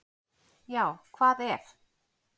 Já hvað ef!